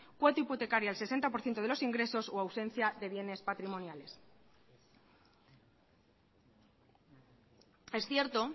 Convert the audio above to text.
cuota hipotecaria al sesenta por ciento de los ingresos o ausencia de bienes patrimoniales es cierto